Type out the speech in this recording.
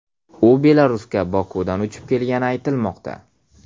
U Belarusga Bokudan uchib kelgani aytilmoqda.